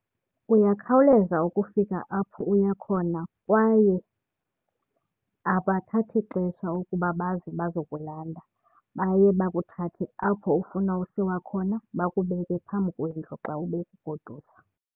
Uyakhawuleza ukufika apho uya khona kwaye abathathi xesha ukuba baze bazokulanda. Baye bakuthathe apho ufuna usiwa khona bakubeke phambi kwendlu xa bekugodusa.